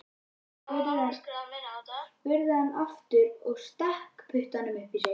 spurði hann aftur og stakk puttanum upp í sig.